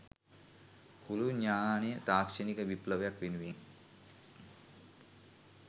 පුළුල් ඤාණය තාක්‍ෂණික විප්ලවයක් වෙනුවෙන්